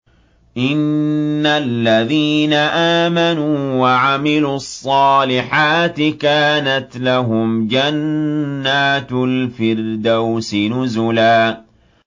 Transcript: إِنَّ الَّذِينَ آمَنُوا وَعَمِلُوا الصَّالِحَاتِ كَانَتْ لَهُمْ جَنَّاتُ الْفِرْدَوْسِ نُزُلًا